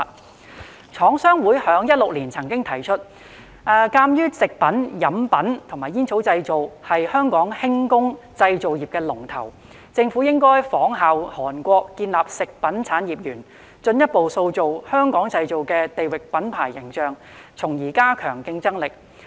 香港廠商會曾於2016年提出，鑒於"食品、飲品及煙草製品"是香港輕工製造業"龍頭"，政府應仿效韓國建立食品產業園，進一步塑造"香港製造"的地域品牌形象，從而加強競爭力。